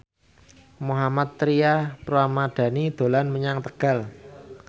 Mohammad Tria Ramadhani dolan menyang Tegal